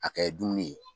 A kɛ dumuni ye